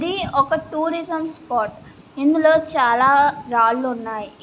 ఇది ఒక tourism spot . ఇందులో చాలా రాళ్లున్నాయి.